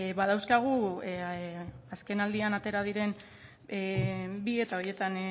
badauzkagu azkenaldian atera diren bi eta horietan